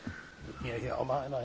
Monsieur le Président,